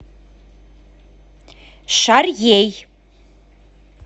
шарьей